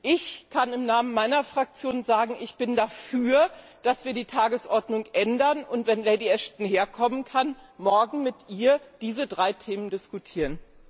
Ich kann im Namen meiner Fraktion sagen, dass ich dafür bin, die Tagesordnung zu ändern, und wenn Lady Ashton herkommen kann, morgen mit ihr diese drei Themen zu diskutieren.